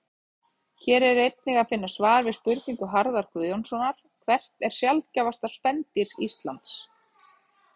Hér er einnig að finna svar við spurningu Harðar Guðjónssonar Hvert er sjaldgæfasta spendýr Íslands?